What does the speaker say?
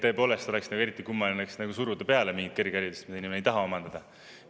Tõepoolest oleks eriti kummaline suruda peale mingit kõrgharidust, mida inimene ei taha omandada.